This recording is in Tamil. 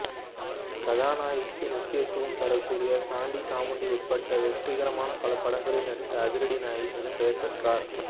கதாநாயகிக்கு முக்கியத்தும் தரக்கூடிய சாண்டி சாமுண்டி உட்பட வெற்றிகரமான பல படங்களில் நடித்து அதிரடி நாயகி என பெயர் பெற்றார்